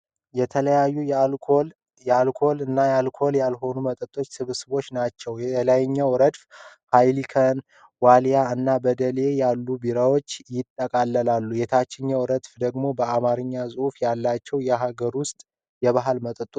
የተለያዩ የአልኮልና የአልኮል ያልሆኑ መጠጦች ስብስቦች ናቸው። የላይኛው ረድፍ እንደ ኃይኒከን፣ ወሊያ እና በደሌ ያሉ ቢራዎችን ያጠቃልላል። የታችኛው ረድፍ ደግሞ በአማርኛ ጽሑፍ ያላቸው የሀገር ውስጥ ባህላዊ መጠጦች ናቸው።